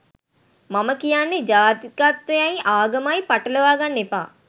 මම කියන්නේ ජාතිකත්වයයි ආගමයි පටලවාගන්න එපා